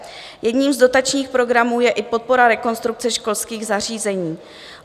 Jedním z dotačních programů je i Podpora rekonstrukce školských zařízení.